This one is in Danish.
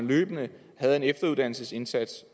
løbende havde en efteruddannelsesindsats